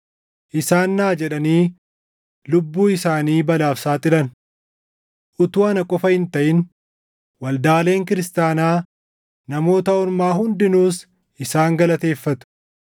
Isaan naa jedhanii lubbuu isaanii balaaf saaxilan. Utuu ana qofa hin taʼin Waldaaleen Kiristaanaa Namoota Ormaa hundinuus isaan galateeffatu.